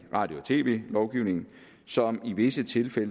radio og tv lovgivningen som i visse tilfælde